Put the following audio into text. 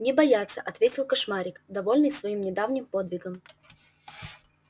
не бояться ответил кошмарик довольный своим недавним подвигом